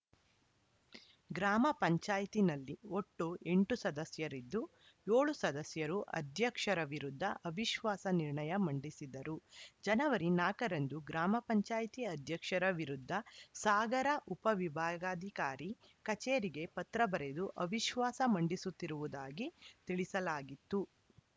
ಗ್ರಾಮ ಪಂಚಾಯತ್ ನಲ್ಲಿ ಒಟ್ಟು ಎಂಟು ಸದಸ್ಯರಿದ್ದು ಏಳು ಸದಸ್ಯರು ಅಧ್ಯಕ್ಷರ ವಿರುದ್ಧ ಅವಿಶ್ವಾಸ ನಿರ್ಣಯ ಮಂಡಿಸಿದ್ದರು ಜನವರಿ ನಾಲ್ಕ ರಂದು ಗ್ರಾಮ ಪಂಚಾಯತ್ ಅಧ್ಯಕ್ಷರ ವಿರುದ್ಧ ಸಾಗರ ಉಪವಿಭಾಗಾಧಿಕಾರಿ ಕಚೇರಿಗೆ ಪತ್ರ ಬರೆದು ಅವಿಶ್ವಾಸ ಮಂಡಿಸುತ್ತಿರುವದಾಗಿ ತಿಳಿಸಲಾಗಿತ್ತು